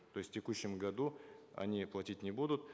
то есть в текущем году они платить не будут